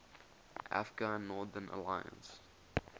afghan northern alliance